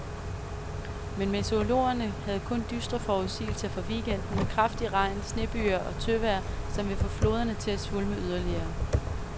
Men meteorologerne havde kun dystre forudsigelser for weekenden med kraftig regn, snebyger og tøvejr, som vil få floderne til at svulme yderligere.